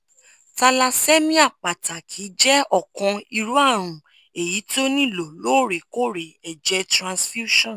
thallassemia pataki jẹ ọkan iru arun eyi ti o nilo loorekoore ẹjẹ transfusions